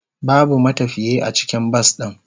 Babu matafiye a cikin bas din.